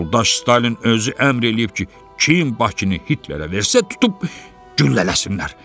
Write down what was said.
Yoldaş Stalin özü əmr eləyib ki, kim Bakını Hitlerə versə, tutub güllələsinlər.